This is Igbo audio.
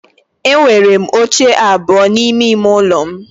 Enwere m oche abụọ n'ime ime ụlọ m